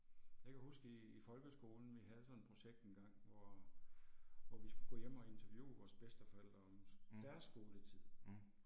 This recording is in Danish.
Jeg kan huske i i folkeskolen vi havde sådan et projekt en gang hvor, hvor vi skulle gå hjem og interviewe vores bedsteforældre om deres skoletid